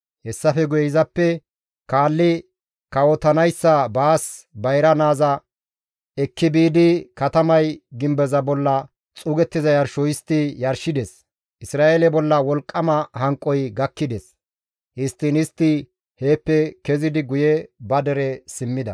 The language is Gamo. Hessafe guye izappe kaalli kawotanayssa baas bayra naaza ekki biidi katamay gimbeza bolla xuugettiza yarsho histti yarshides; Isra7eele bolla wolqqama hanqoy gakkides; histtiin istti heeppe kezidi guye ba dere simmida.